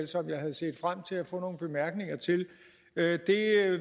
som jeg havde set frem til at få nogle bemærkninger til jeg